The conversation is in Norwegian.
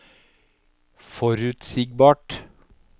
forutsigbart